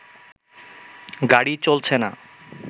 গাড়ি চলছে না